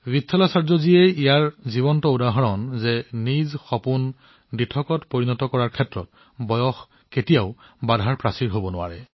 বিথালাচাৰ্যজী ইয়াৰ এটা উদাহৰণ যে আপোনাৰ সপোনবোৰ পূৰণ কৰাৰ ক্ষেত্ৰত বয়সৰ কোনো বাধা নাই